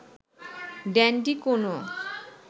dandy কোনও